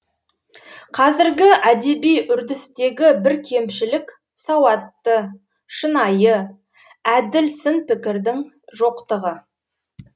қазіргі әдеби үрдістегі бір кемшілік сауатты шынайы әділ сын пікірдің жоқтығы